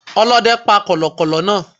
Ọlóde pa kòlòkòlò náa